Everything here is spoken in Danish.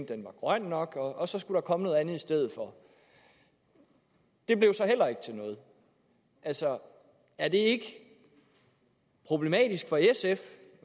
den var grøn nok og så skulle der komme noget andet i stedet for det blev så heller ikke til noget altså er det ikke problematisk for sf